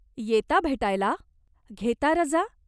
येता भेटायला ? घेता रजा ?